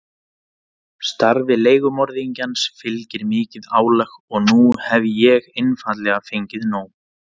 Starfi leigumorðingjans fylgir mikið álag og nú hef ég einfaldlega fengið nóg.